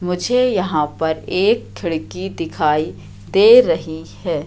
मुझे यहां पर एक खिड़की दिखाई दे रही है।